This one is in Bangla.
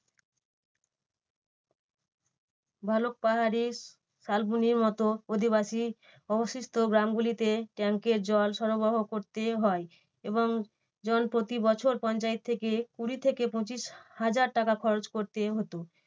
ভালুক পাহাড়ে শালবনির মতো অধিবাসী অবশিষ্ট গ্রামগুলিতে tank এর জল সরবরাহ করতে হয় এবং জন প্রতি বছর পঞ্চায়েত থেকে কুড়ি থেকে পঁচিশ হাজার টাকা খরচ করতে হতো।